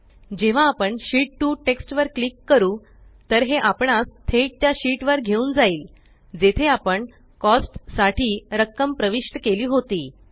जेव्हा आपण sheet 2 text वर क्लिक करू तर हे आपणास थेट त्या शीट वर घेऊन जाईल जेथे आपण कोस्ट्स साठी रक्कम प्रविष्ट केली होती